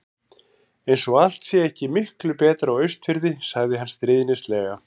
Eins og allt sé ekki miklu betra á Austurfirði. sagði hann stríðnislega.